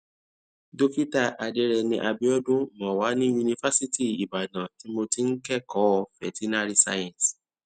dókítà adereni abiodun mo wà ní yunifásítì ibadan tí mo ti ń kékòó veterinary science